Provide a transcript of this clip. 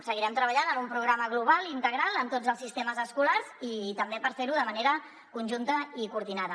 seguirem treballant en un programa global integral en tots els sistemes escolars i també per fer ho de manera conjunta i coordinada